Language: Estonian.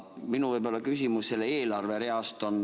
Mul on küsimus ühe eelarverea kohta.